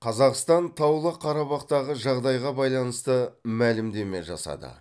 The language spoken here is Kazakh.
қазақстан таулы қарабақтағы жағдайға байланысты мәлімдеме жасады